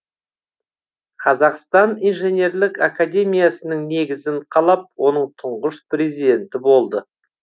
қазақстан инженерлік академиясының негізін қалап оның тұңғыш президенті болды